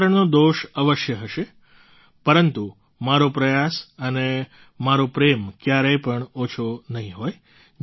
ઉચ્ચારણનો દોષ અવશ્ય હશે પરંતુ મારો પ્રયાસ અને મારો પ્રેમ ક્યારેય પણ ઓછો નહીં હોય